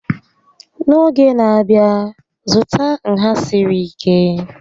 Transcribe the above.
N'oge n'abia, zụta nha siri ike